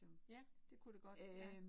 Ja det kunne det godt ja